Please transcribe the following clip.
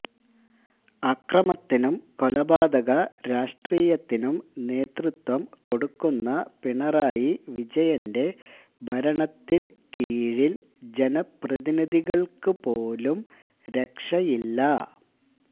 അക്രമത്തിനും കൊലപാതക രാഷ്ട്രീയത്തിനും നേതൃത്വം കൊടക്കുന്ന പിണറായി വിജയന്റെ ഭരണത്തിന് കീഴില് ജനപ്രതിനിധികള്ക്കുപോലും രക്ഷയില്ല